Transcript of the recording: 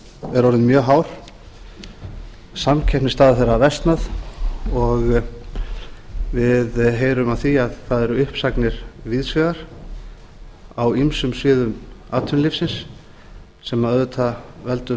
er orðinn mjög hár samkeppnisstaða þeirra versnar og við heyrum af því að það eru uppsagnir víðs vegar af ýmsum sviðum atvinnulífsins sem auðvitað veldur